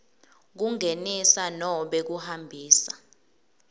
kungenisa nobe kuhambisa